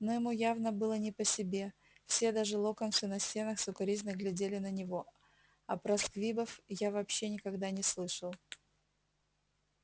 но ему явно было не по себе все даже локонсы на стенах с укоризной глядели на него а про сквибов я вообще никогда не слышал